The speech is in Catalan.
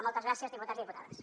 moltes gràcies diputats i diputades